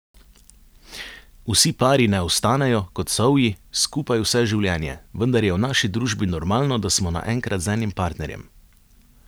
Vsi pari ne ostanejo, kot sovji, skupaj vse življenje, vendar je v naši družbi normalno, da smo naenkrat z enim partnerjem.